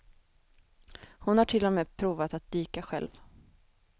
Hon har till och med provat att dyka själv.